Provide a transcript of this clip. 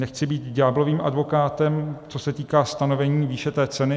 Nechci být ďáblovým advokátem, co se týká stanovení výše té ceny.